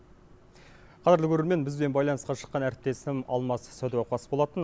қадірлі көрермен бізбен байланысқа шыққан әріптесім алмас сәдуақас болатын